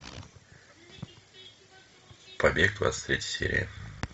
побег двадцать третья серия